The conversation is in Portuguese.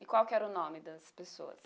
E qual que era o nome das pessoas?